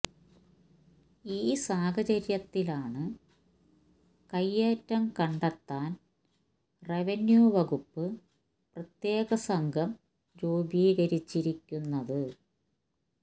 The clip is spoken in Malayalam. ഈ സാഹചര്യത്തിലാണ് കയ്യേറ്റം കണ്ടെത്താന് റവന്യൂ വകുപ്പ് പ്രത്യേക സംഘം രൂപീകരിച്ചിരിക്കുന്നത്